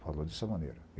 Falou dessa maneira.